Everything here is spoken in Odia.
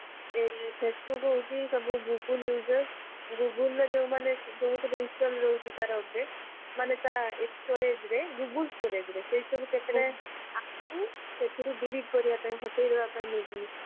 facebook ହଉଛି ସବୁ google user google ର ଯୋଊମାନେ ଯୋଊ ସବୁ install ରହୁଛି ତାର update ମାନେ ତା storage ରେ google storage ରେ ସେଇ ସବୁ କେତେବେଳେ app କୁ ସେଥିରୁ delete କରିବାପାଇଁ ହଟେଇ ଦବାପାଇଁ